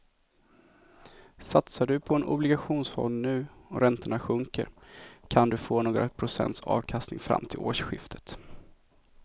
Satsar du på en obligationsfond nu och räntorna sjunker kan du få några procents avkastning fram till årsskiftet.